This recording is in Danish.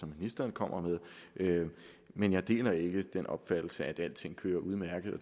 ministeren kom med men jeg deler ikke den opfattelse at alting kører udmærket og